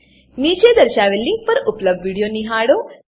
નીચે દર્શાવેલ લીંક પર ઉપલબ્ધ વિડીયો નિહાળો